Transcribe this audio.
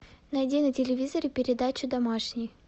найди на телевизоре передачу домашний